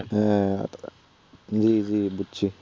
হ্যাঁ জি জি বুঝছি।